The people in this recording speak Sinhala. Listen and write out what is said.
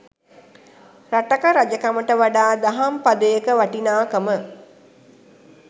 රටක රජකමට වඩා දහම් පදයක වටිනාකම